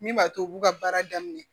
Min b'a to u b'u ka baara daminɛ